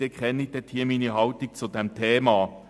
Sie kennen meine Haltung zu diesem Thema.